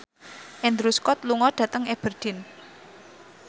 Andrew Scott lunga dhateng Aberdeen